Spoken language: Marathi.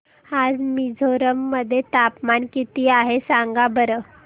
आज मिझोरम मध्ये तापमान किती आहे सांगा बरं